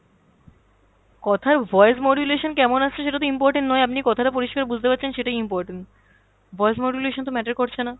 কথার voice modulation কেমন আসছে সেটাতো important নয়, আপনি কথাটা পরিষ্কার বুঝতে পারছেন সেটাই important, voice modulation তো matter করছে না।